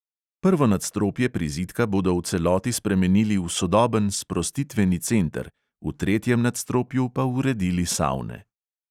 Prvo nadstropje prizidka bodo v celoti spremenili v sodoben sprostitveni center, v tretjem nadstropju pa uredili savne.